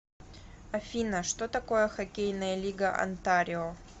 афина что такое хоккейная лига онтарио